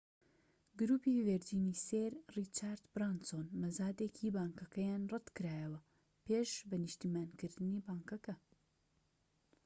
گروپی ڤێرجینی سێر ڕیچارد برانسۆن مەزادێکی بانکەکەیان ڕەتکرایەوە پێش بە نیشتیمانیکردنی بانکەکە